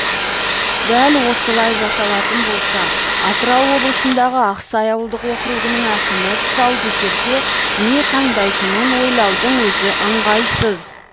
дәл осылай жасалатын болса атырау облысындағы ақсай ауылдық округінің әкімі тұсаукесерде не таңдайтынын ойлаудың өзі ыңғайсыз